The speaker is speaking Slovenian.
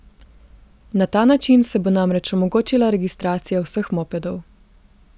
Na ta način se bo namreč omogočila registracija vseh mopedov.